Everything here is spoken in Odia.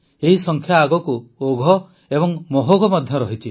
ଏହି ସଂଖ୍ୟା ଆଗକୁ ଓଘ ଏବଂ ମହୋଘ ମଧ୍ୟ ରହିଛି